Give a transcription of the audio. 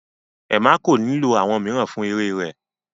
Emma kọ lilo awọn miiran fun ere rẹ